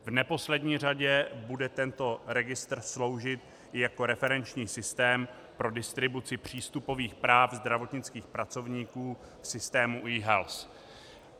V neposlední řadě bude tento registr sloužit jako referenční systém pro distribuci přístupových práv zdravotnických pracovníků v systému eHealth.